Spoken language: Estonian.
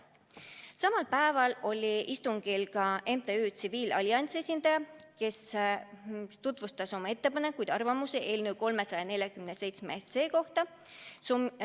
Samal päeval oli istungil ka MTÜ Eesti Tsiviilallianss esindaja, kes tutvustas oma ettepanekuid ja arvamusi eelnõu 347 kohta.